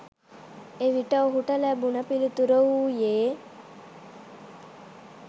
එවිට ඔහුට ලැබුණ පිළිතුර වූයේ